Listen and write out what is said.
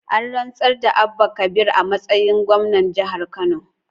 An rantsar da Abba Kabir a matsayin gwamna jihar Kano